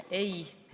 Ei.